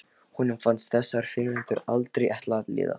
Honum fannst þessar frímínútur aldrei ætla að líða.